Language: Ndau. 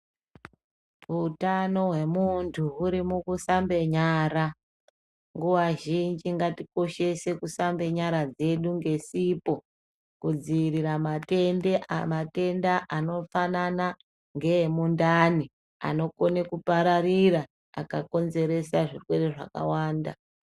Utano hwemuntu huri mukusambe nyara nguwa zhinji ngatikoshese kusambe nyara dzedu ngesipo kudziirire matenda anofanana ngeemundani anokone kupararira akakonzeresa zvirwere zvakawanda.